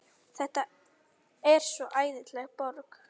Þetta er svo æðisleg borg.